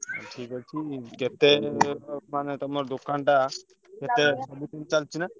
ଠିକ ଅଛି କେତେ ମାନେ ତମ ଦୋକାନଟା କେତେ ଚାଲିଛି ନା?